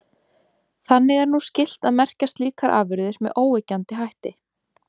Þannig er nú skylt að merkja slíkar afurðir með óyggjandi hætti.